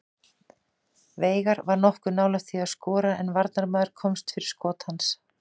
Veigar var nokkuð nálægt því að skora en varnarmaður komst fyrir skot hans.